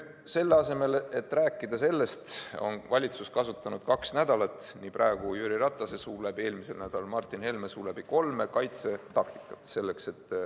Selle asemel, et sellest rääkida, on valitsus kasutanud kaks nädalat – praegu Jüri Ratase suu läbi, eelmisel nädalal Martin Helme suu läbi – kolme kaitsetaktikat.